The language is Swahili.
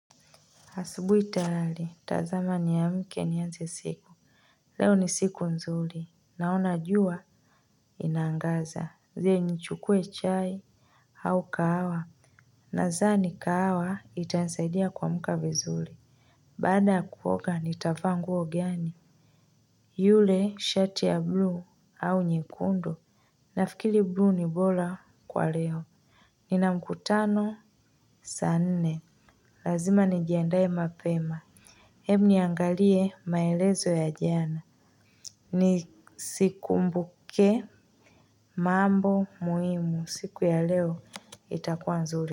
Hasubuhi tayari tazama nia mke nianze siku. Leo ni siku nzuli. Naona jua, ina angaza. Je nichukue chai, au kahawa. Nadhani kahawa, itanisaidia kuamka vizuli. Baada ya kuoga, nitavaa nguo gani. Yule, shati ya blue, au nyekundu. Nafikiri bluu ni bora kwa leo. Nina mkutano, saa nne. Lazima nijiandae mapema. Ebu niangalie maelezo ya jana. Ni sikumbuke mambo muhimu siku ya leo itakuwa nzuri.